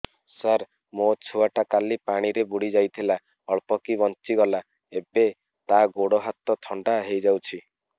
ସାର ମୋ ଛୁଆ ଟା କାଲି ପାଣି ରେ ବୁଡି ଯାଇଥିଲା ଅଳ୍ପ କି ବଞ୍ଚି ଗଲା ଏବେ ତା ଗୋଡ଼ ହାତ ଥଣ୍ଡା ହେଇଯାଉଛି